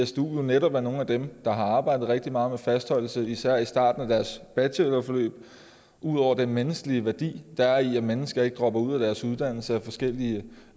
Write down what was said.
stu er netop nogle af dem der har arbejdet rigtig meget med fastholdelse især i starten af deres bachelorforløb ud over den menneskelige værdi der er i at mennesker ikke dropper ud af deres uddannelse af forskellige